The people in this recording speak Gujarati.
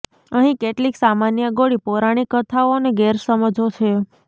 અહીં કેટલીક સામાન્ય ગોળી પૌરાણિક કથાઓ અને ગેરસમજો છે